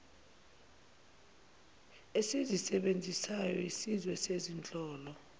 esizisebenzisayo siyizwe nezinhlolo